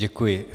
Děkuji.